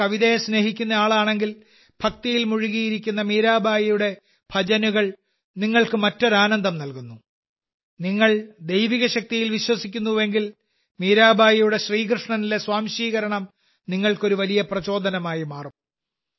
നിങ്ങൾ കവിതയെ സ്നേഹിക്കുന്ന ആളാണെങ്കിൽ ഭക്തിയിൽ മുഴുകിയിരിക്കുന്ന മീരാഭായിയുടെ ഭജനകൾ നിങ്ങൾക്ക് മറ്റൊരു ആനന്ദം നൽകുന്നു നിങ്ങൾ ദൈവിക ശക്തിയിൽ വിശ്വസിക്കുന്നുവെങ്കിൽ മീരാബായിയുടെ ശ്രീകൃഷ്ണനിലെ സ്വാംശീകരണം നിങ്ങൾക്ക് ഒരു വലിയ പ്രചോദനമായി മാറും